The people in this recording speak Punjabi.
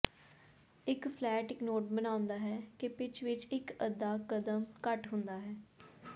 ਇੱਕ ਫਲੈਟ ਇੱਕ ਨੋਟ ਬਣਾਉਂਦਾ ਹੈ ਕਿ ਪਿਚ ਵਿੱਚ ਇੱਕ ਅੱਧਾ ਕਦਮ ਘੱਟ ਹੁੰਦਾ ਹੈ